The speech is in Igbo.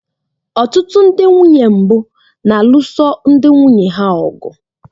Ọtụtụ ndị nwunye mbụ na-alụso ndị nwunye ha ọgụ